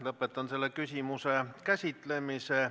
Lõpetan selle küsimuse käsitlemise.